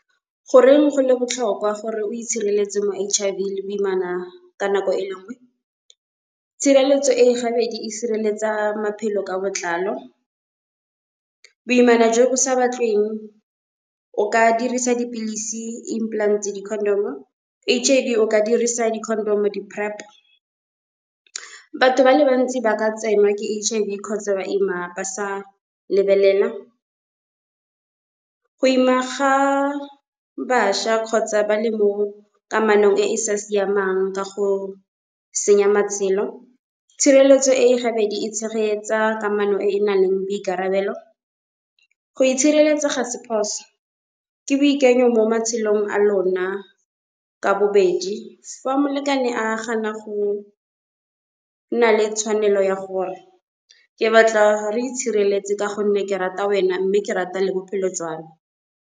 Goreng go le botlhokwa gore o itshireletse mo H_I_V le boimana ka nako e le nngwe. Tshireletso e e gabedi e sireletsa maphelo ka botlalo. Boimana jo bo sa batlweng o ka dirisa dipilisi, implant, di-condom-o. H_I_V o ka dirisa di-condom-o, di-PrEP. Batho bale bantsi ba ka tsenwa ke H_I_V kgotsa ba ima ba sa lebelela. Go ima ga bašha kgotsa bale mo kamanong e e sa siamang ka go senya matshelo, tshireletso e gabedi e tshegetsa kamano e e nang le boikarabelo. Go itshireletsa ga se phoso ke boikanyo mo matshelong a lona ka bobedi, fa molekane a gana go nna le tshwanelo ya gore ke batla re itshireletse ka gonne ke rata wena mme ke rata le bophelo jwa me.